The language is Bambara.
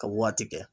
Ka waati kɛ